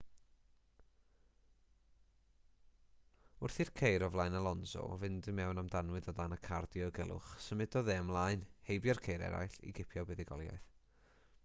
wrth i'r ceir o flaen alonso fynd i mewn am danwydd o dan y car diogelwch symudodd e ymlaen heibio'r ceir eraill i gipio buddugoliaeth